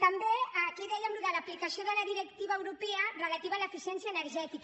també aquí dèiem allò de l’aplicació de la directiva europea relativa a l’eficiència energètica